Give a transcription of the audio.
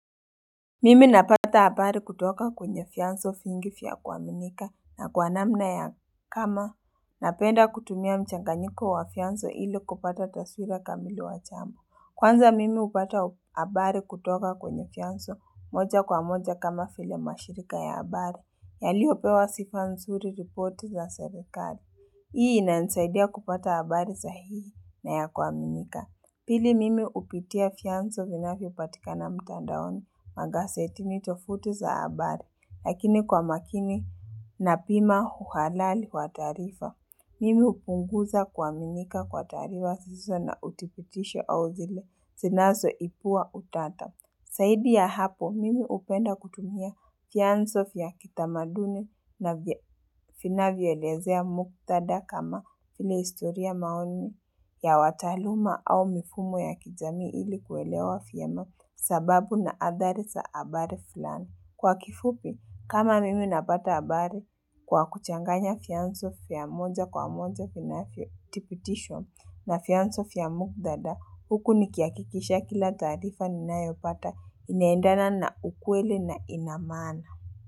Mimi napata abari kutoka kwenye fyanso fingi fya kuaminika na kwanamna ya kama. Napenda kutumia mchanganyiko wa fyanzo ili kupata taswira kamili wachambo. Kwanza mimi upata abari kutoka kwenye fyanso moja kwa moja kama file mashirika ya abari. Yaliopewa sifansuri report za serikali. Hii ina nsaidia kupata abari sahihi na ya kuaminika. Pili mimi upitia fyanzo vinafyopatika na mtandaoni magasetini tofuti za abari, lakini kwa makini na pima uhalali wa taarifa. Mimi upunguza kuaminika kwa taarifa siso na utipitisho au zile sinazo ipua utata. Saidi ya hapo, mimi upenda kutumia fyanso fya kitamaduni na finavyoelezea muktada kama ili istoria maoni ya wataaluma au mifumo ya kijami ili kuelewa fyema sababu na adharisa abari fulani Kwa kifupi, kama mimi napata abari kwa kuchanganya fyanso fya moja kwa moja finafyo tipitishwa na fyansofya mugthada, huku nikia kikisha kila tarifa ni nayopata inaendana na ukweli na inamaana.